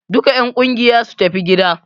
Duka en ƙungiya su tafi gida!